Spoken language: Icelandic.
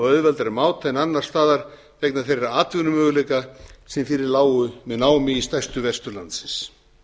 auðveldari máta en annars staðar vegna þeirra atvinnumöguleika sem fyrir lágu með námi í stærstu verstöð landsins